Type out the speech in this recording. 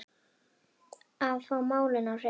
Að fá málin á hreint